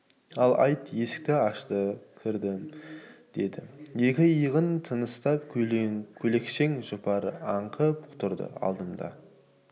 ал айт есікті ашты кірдім деді екі иығынан тыныстап көйлекшең жұпары аңқып тұрды алдымда